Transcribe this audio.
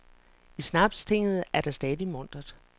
I snapstinget er der stadig muntert.